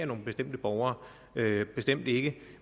nogle bestemte borgere bestemt ikke